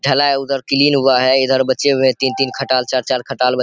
ढलाई उधर क्लीन हुए हैं इधर बचे हुए है तीन-तीन खटाल चार-चार खटाल।